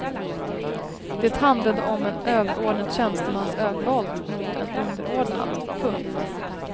Det handlade om en överordnad tjänstemans övervåld mot en underordnad. punkt